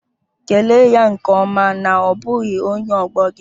Kelee ya nke ọma na ọ bụghị onye ọgbọ gị